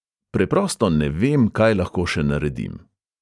Preprosto ne vem, kaj lahko še naredim.